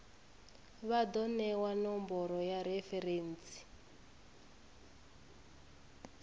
vha do newa nomboro ya referentsi